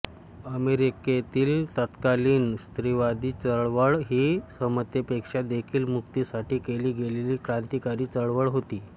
अमेरिकेतील तत्कालीन स्त्रीवादी चळवळ ही समतेपेक्षा देखील मुक्तीसाठी केली गेलेली क्रांतिकारी चळवळ होती